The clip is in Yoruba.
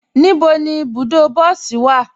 Níbo ni ibùdó bọsí wa?